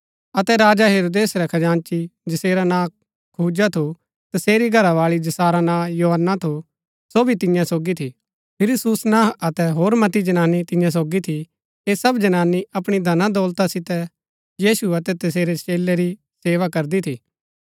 अतै राजा हेरोदेस रै खजांची जसेरा नां खुजा थू तसेरी घरावाळी जसारा नां योअन्ना थू सो भी तियां सोगी थी फिरी सुसनाह अतै होर मति जनानी तियां सोगी थी ऐह सब जनानी अपणी धनादौलता सितै यीशु अतै तसेरै चेलै री सेवा करदी थी